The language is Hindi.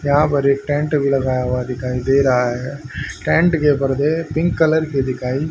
यहां पर एक टेंट भी लगाया हुआ दिखाई दे रहा है टेंट के ऊपर से पिंक कलर की दिखाई --